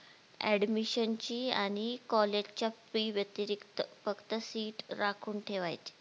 admission ची आणि college च्या FEE व्यातिरिक फक्त seat राखून ठेवायची